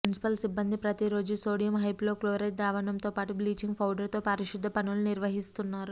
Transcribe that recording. municipal సిబ్బంది ప్రతిరోజూ sodium hypochlorite ద్రావణంతోపాటు బ్లీచింగ్ పౌడర్తో పారిశుద్ధ్య పనులు నిర్వహిస్తున్నారు